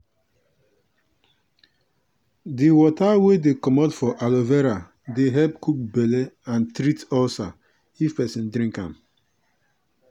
di water wey dey comot for aloe vera dey help cook belle and treat ulcer if person drink am.